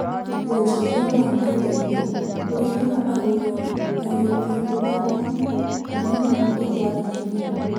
Wonjoria wa nenda-inĩ ũrehaga agũri na endia handũ hamwe na no mahote kwaranĩria